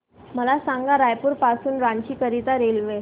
मला सांगा रायपुर पासून रांची करीता रेल्वे